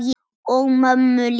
Og mömmu líka.